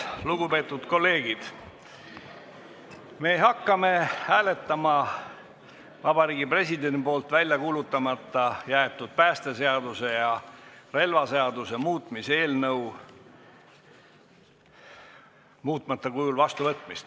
Lugupeetud kolleegid, me hakkame hääletama Vabariigi Presidendi poolt välja kuulutamata jäetud päästeseaduse ja relvaseaduse muutmise seaduse eelnõu muutmata kujul vastuvõtmist.